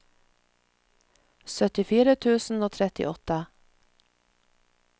syttifire tusen og trettiåtte